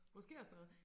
Måske også noget